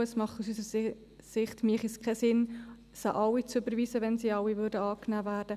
Aus unserer Sicht wäre es nicht sinnvoll, diese alle zu überweisen, sollten sie denn alle angenommen werden.